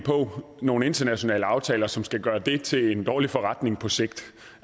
på nogle internationale aftaler som skal gøre det til en dårlig forretning på sigt